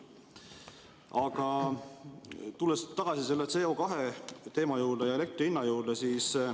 Aga tulen tagasi selle CO2 teema ja elektri hinna juurde.